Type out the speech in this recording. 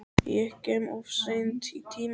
Ég kem of seint í tímann.